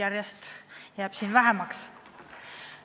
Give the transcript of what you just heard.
Teid jääb siin järjest vähemaks.